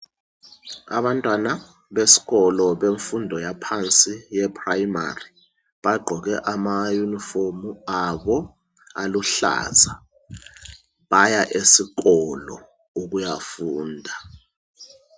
Abantwana beskolo bemfundo yaphansi yeprimary, bagqoke ama yunifomu abo aluhlaza. Baya esikolo ukuyafunda.